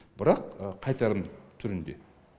бірақ қайтарым түрінде